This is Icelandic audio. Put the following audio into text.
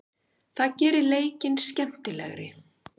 Það gerir leikinn skemmtilegri.